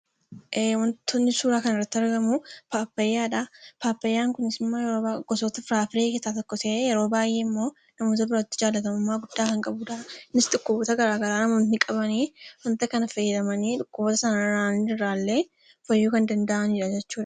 Waantonni suuraa kana irratti argamu, pappaayyaadha. Pappaayyaan kunis immoo gosoota kuduraafi muduraa keessaa tokko ta'ee yeroo namoota biratti jaalatamummaa kan qabu innis dhukkuboota garaagaraa namoonni qaban waanta kana fayyadamanii dhukkuba isaanii irraa illee fayyuu kan danda'anidha jechuudha.